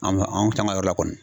yɔrɔ la kɔni.